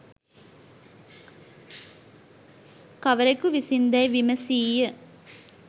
කවරෙකු විසින් දැයි විමසීය.